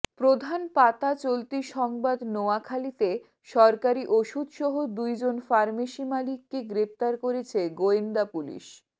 প্রধান পাতা চলতি সংবাদ নোয়াখালীতে সরকারি ওষুধ সহ দুইজন ফার্মেসি মালিককে গ্রেফতার করেছে গোয়েন্দা পুলিশ